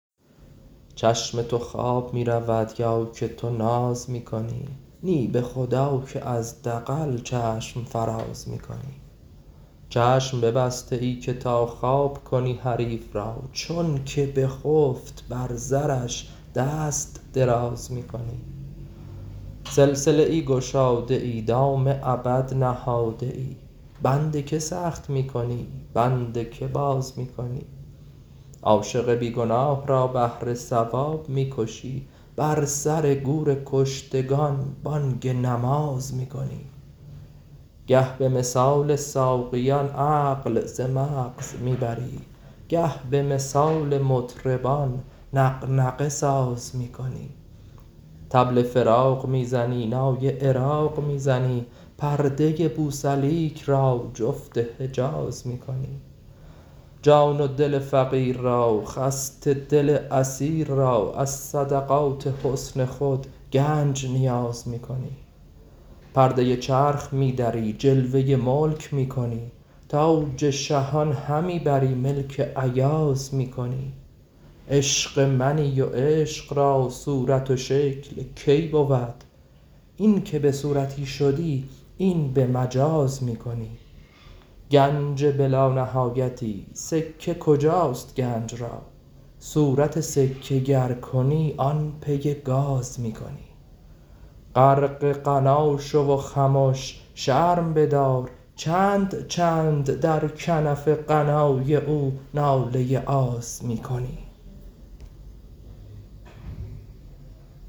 چشم تو خواب می رود یا که تو ناز می کنی نی به خدا که از دغل چشم فراز می کنی چشم ببسته ای که تا خواب کنی حریف را چونک بخفت بر زرش دست دراز می کنی سلسله ای گشاده ای دام ابد نهاده ای بند که سخت می کنی بند که باز می کنی عاشق بی گناه را بهر ثواب می کشی بر سر گور کشتگان بانگ نماز می کنی گه به مثال ساقیان عقل ز مغز می بری گه به مثال مطربان نغنغه ساز می کنی طبل فراق می زنی نای عراق می زنی پرده بوسلیک را جفت حجاز می کنی جان و دل فقیر را خسته دل اسیر را از صدقات حسن خود گنج نیاز می کنی پرده چرخ می دری جلوه ملک می کنی تاج شهان همی بری ملک ایاز می کنی عشق منی و عشق را صورت شکل کی بود اینک به صورتی شدی این به مجاز می کنی گنج بلانهایتی سکه کجاست گنج را صورت سکه گر کنی آن پی گاز می کنی غرق غنا شو و خمش شرم بدار چند چند در کنف غنای او ناله آز می کنی